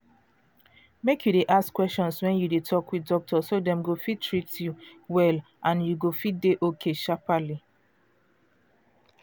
mek you de ask questions wen you de talk with doctor so dem go fit treat you well and you go fit dey okay sharpally.